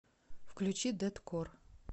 включи дэткор